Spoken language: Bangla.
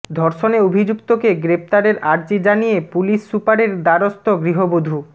ধর্ষণে অভিযুক্তকে গ্রেফতারের আর্জি জানিয়ে পুলিশ সুপারের দ্বারস্থ গৃহবধূ